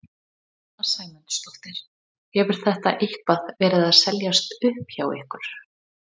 Sunna Sæmundsdóttir: Hefur þetta eitthvað verið að seljast upp hjá ykkur?